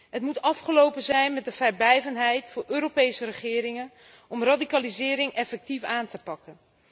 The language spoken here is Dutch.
Het moet afgelopen zijn met de vrijblijvendheid voor Europese regeringen om radicalisering effectief aan te pakken.